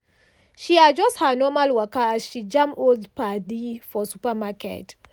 she adjust her normal waka as she jam old padi for supermarket.